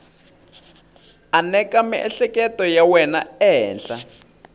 aneka miehleketo ya wena ehenhla